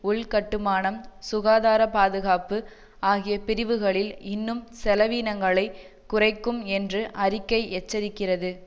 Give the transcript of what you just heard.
உள்கட்டுமானம் சுகாதார பாதுகாப்பு ஆகிய பிரிவுகளில் இன்னும் செலவினங்களை குறைக்கும் என்று அறிக்கை எச்சரிக்கிறது